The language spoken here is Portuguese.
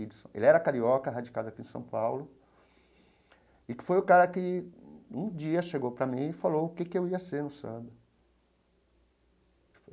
Ele era carioca, radicado aqui em São Paulo, e foi o cara que um dia chegou para mim e falou o que que eu ia ser no samba.